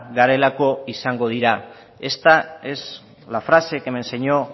garelako izango dira esta es la frase que me enseño